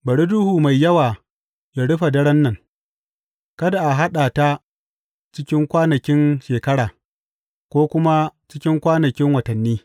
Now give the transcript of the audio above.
Bari duhu mai yawa yă rufe daren nan; kada a haɗa ta cikin kwanakin shekara, ko kuma cikin kwanakin watanni.